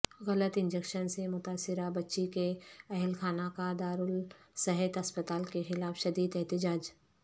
غلط انجیکشن سے متاثرہ بچی کے اہلخانہ کا دارالصحت اسپتال کے خلاف شدید احتجاج